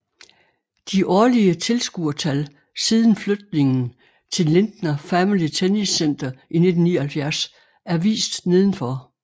De årlige tilskuertal siden flytningen til Lindner Family Tennis Center i 1979 er vist nedenfor